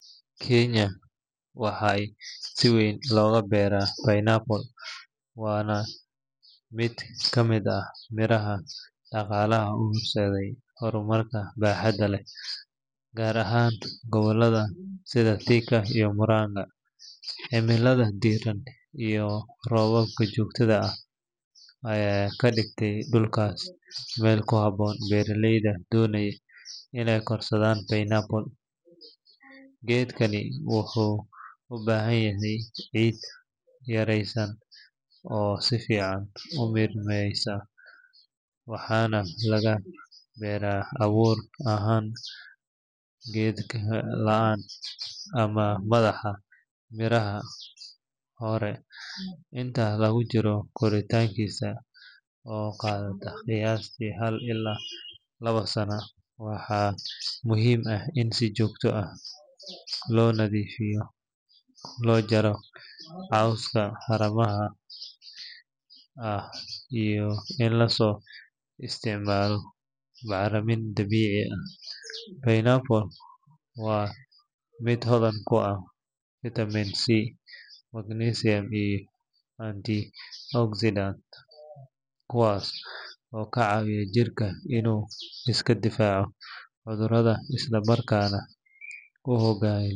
Kiinya waxaa si weyn looga beeraa pineapple waana mid ka mid ah miraha dhaqaalaha u horseeday horumar baaxad leh, gaar ahaan gobollada sida Thika iyo Murang’a. Cimilada diirran iyo roobabka joogtada ah ayaa ka dhigta dhulkaas meel ku habboon beeraleyda doonaya inay korsadaan pineapple. Geedkani wuxuu u baahan yahay ciid caraysan oo si fiican u miirmaysa, waxaana laga beeraa abuur ahaan laan ama madaxa miraha hore. Inta lagu jiro koritaankiisa oo qaadata qiyaastii hal ilaa laba sano, waxaa muhiim ah in si joogto ah loo nadiifiyo, loo jaro cawska hareeraha ah iyo in loo isticmaalo bacrinta dabiiciga ah. Pineapple waa miro hodan ku ah vitamin C, manganese iyo antioxidants kuwaas oo ka caawiya jirka inuu iska difaaco cudurrada isla markaana u hagaajiya.